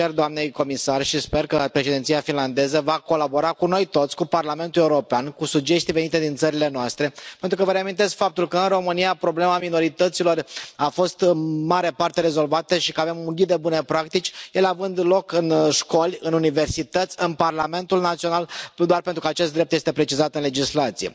Îi cer doamnei comisar, și sper că Președinția finlandeză va colabora cu noi toți, cu Parlamentul European, cu sugestii venite din țările noastre, pentru că vă reamintesc faptul că, în România, problema minorităților a fost în mare parte rezolvată și că avem un ghid de bune practici, ele având loc în școli, în universități, în Parlamentul național, nu doar pentru că acest drept este precizat în legislație.